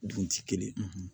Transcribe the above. Dun ti kelen